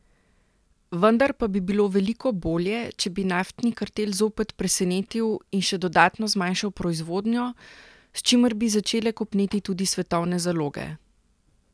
Vendar pa bi bilo veliko bolje, če bi naftni kartel zopet presenetil in še dodatno zmanjšal proizvodnjo, s čimer bi začele kopneti tudi svetovne zaloge.